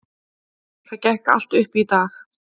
Það gekk allt upp í dag.